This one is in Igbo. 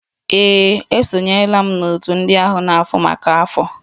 Ee, esonyela m n'òtù ndị na-ahụ maka afọ.